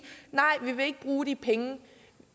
nej vi vil ikke bruge de penge